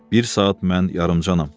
Bir saat mən yarımdanam.